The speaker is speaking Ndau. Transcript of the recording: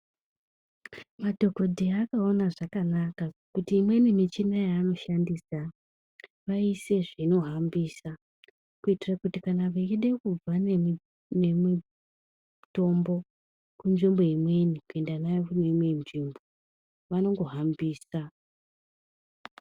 Madhokodheya akaona zvakanaka kuti imweni michina yavanoshandisa vaise zvinohambisa kuitire kuti kana veida kubva nemitombo kunzvimbo imweni kuenda nayo kune imwe nzvimbo vanongohambisa.